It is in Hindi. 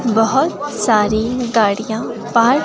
बहुत सारी गाड़ियां पार्क --